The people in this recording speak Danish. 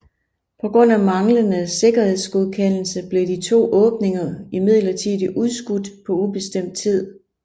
På grund af manglende sikkerhedsgodkendelse blev de to åbninger imidlertid udskudt på ubestemt tid